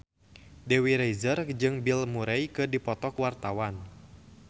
Dewi Rezer jeung Bill Murray keur dipoto ku wartawan